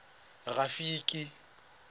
rafiki